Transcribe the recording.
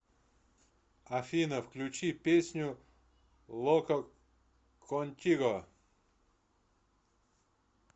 афина включи песню локо контиго